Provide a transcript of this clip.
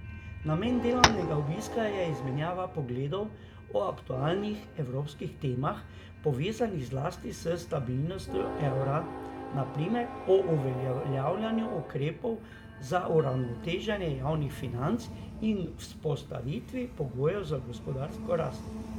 Namen delovnega obiska je izmenjava pogledov o aktualnih evropskih temah, povezanih zlasti s stabilnostjo evra, na primer o uveljavljanju ukrepov za uravnoteženje javnih financ in vzpostavitvi pogojev za gospodarsko rast.